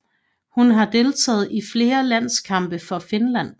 Hun har deltaget i flere landskampe for Finland